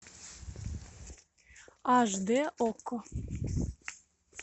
аш д окко